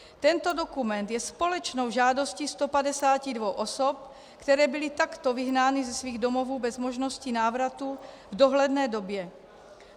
Tento dokument je společnou žádostí 152 osob, které byly takto vyhnány ze svých domovů bez možnosti návratu v dohledné době.